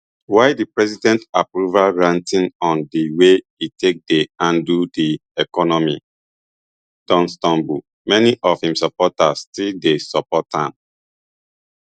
while di president approval ratings on di way e take dey handle di economy don tumble many of im supporters still dey support am